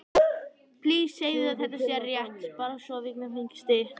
Kristján Már: Hvernig kom hann þér fyrir sjónir?